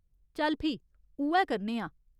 चल फ्ही, उ'ऐ करने आं।